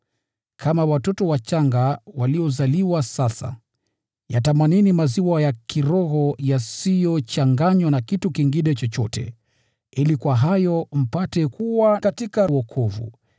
Kama watoto wachanga, waliozaliwa sasa, yatamanini maziwa ya kiroho yasiyochanganywa na kitu kingine chochote, ili kwa hayo mpate kukua katika wokovu,